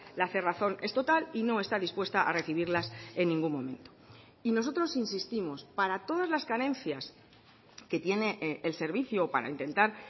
la cerrazón es total y no está dispuesta a recibirlas en ningún momento y nosotros insistimos para todas las carencias que tiene el servicio o para intentar